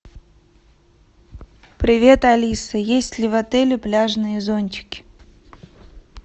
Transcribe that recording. привет алиса есть ли в отеле пляжные зонтики